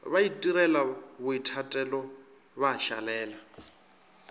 ba itirela boithatelo ba šalela